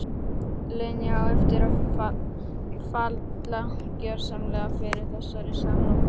Linja á eftir að falla gjörsamlega fyrir þessari samloku.